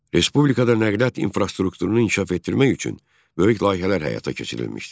Respublikada nəqliyyat infrastrukturunun inkişaf etdirmək üçün böyük layihələr həyata keçirilmişdi.